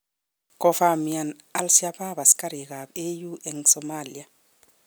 Kofamian Al-Shabab askarik ab AU eng Somalia